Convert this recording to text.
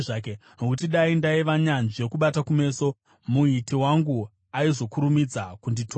nokuti dai ndaiva nyanzvi yokubata kumeso, Muiti wangu aizokurumidza kunditora.